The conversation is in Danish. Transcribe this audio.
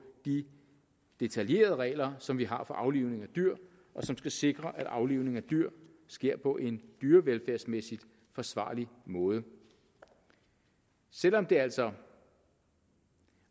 de detaljerede regler som vi har for aflivning af dyr og som skal sikre at aflivning af dyr sker på en dyrevelfærdsmæssig forsvarlig måde selv om det altså